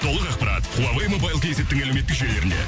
толық ақпарат хуавей мобайл кейзеттің әлеуметтік желілерінде